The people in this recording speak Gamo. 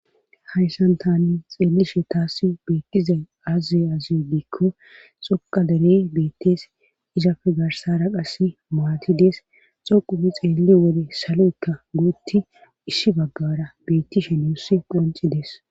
hayssan tani xeelishe taasi beekkizay azze azidiikko xoqa derey beettees izafe garsara qass maati dees xoqumi xeelli wole salo7ykka guutti isshi baggara beetti she nuussi qonci dees